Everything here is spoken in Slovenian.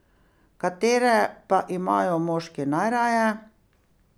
Katere pa imajo moški najraje?